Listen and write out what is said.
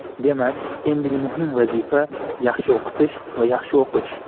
Demak, endigi muhim vazifa - yaxshi o‘qitish va yaxshi o‘qish.